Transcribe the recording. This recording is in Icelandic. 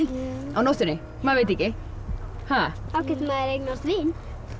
á nóttunni maður veit ekki þá getur maður eignast vin